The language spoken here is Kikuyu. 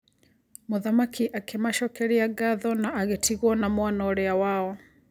Mũthamaki akĩ macokeria ngatho na agĩtigwo na mwana ũrĩa wao.